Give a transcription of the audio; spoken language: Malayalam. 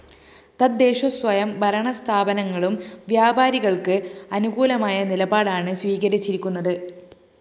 തദ്ദേശസ്വയം ഭരണസ്ഥാപനങ്ങളും വ്യാപാരികള്‍ക്ക് അനുകൂലമായ നിലപാടാണ് സ്വീകരിച്ചിരിക്കുന്നത്